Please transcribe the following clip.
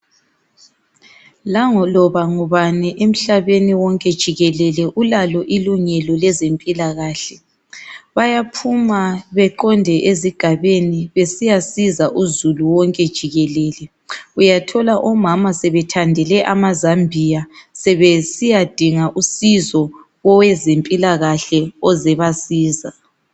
Laloba ngubani emhlabeni wonke jikelele ulalo ilungeloleze mpilakahle .Bayaphuma baqonde ezigabeni besiyasiza uzulu jikelelele .Uyathola omama sebethandele amazambiya besiya dinga usizo kowezempilakahle oze ukuzobasiza.